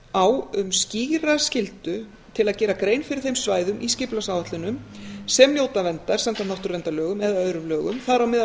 á um skýra skyldu til að gera grein fyrir þeim svæðum í skipulagsáætlunum sem njóta verndar samkvæmt náttúruverndarlögum eða öðrum lögum þar á meðal